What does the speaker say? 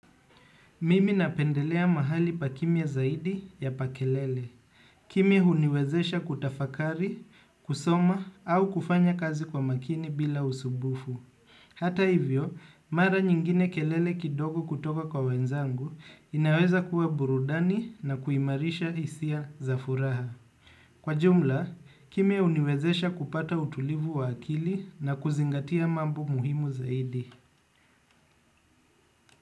Mimi napendelea mahali pa kimya zaidi ya pa kelele, kimya huniwezesha kutafakari, kusoma au kufanya kazi kwa makini bila usumbufu. Hata hivyo, mara nyingine kelele kidogo kutoka kwa wenzangu inaweza kuwa burudani na kuimarisha hisia za furaha. Kwa jumla, kimi uniwezesha kupata utulivu wa akili na kuzingatia mambu muhimu zaidi.